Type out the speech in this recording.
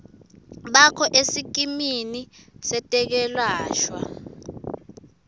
bakho esikimini setekwelashwa